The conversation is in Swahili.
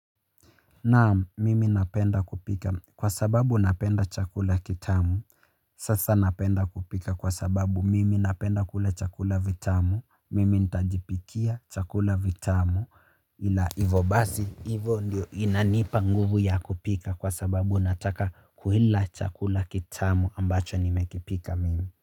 Naam, mimi napenda kupika. Kwa sababu napenda chakula kitamu. Sasa napenda kupika kwa sababu mimi napenda kula chakula vitamu. Mimi ntajipikia chakula vitamu. Ila hivo basi. Hivo ndio inanipa nguvu ya kupika kwa sababu nataka kuila chakula kitamu ambacho nimekipika mimi.